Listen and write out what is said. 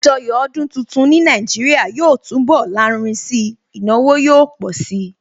Àjọyọ̀ ọdún tuntun ní Nàìjíríà yóò túnbọ̀ lárinrin si, ìnáwó yóò pọ̀ si